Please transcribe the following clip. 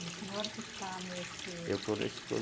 O senhor que está nesse... Eu estou nesse